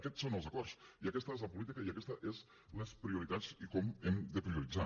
aquests són els acords i aquesta és la política i aquestes són les prioritats i com hem de prioritzar